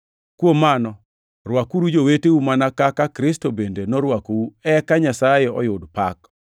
Kuom mano, rwakuru joweteu mana kaka Kristo bende norwakou eka Nyasaye oyud pak.